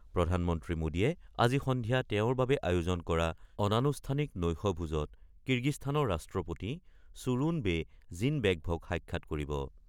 প্ৰধানমন্ত্ৰী মোদীয়ে আজি সন্ধিয়া তেওঁৰ বাবে আয়োজন কৰা অনানুষ্ঠানিক নৈশ ভোজত কিৰ্গিস্তানৰ ৰাষ্ট্ৰপতি চুৰুণ বে জিনবেকভক সাক্ষাৎ কৰিব।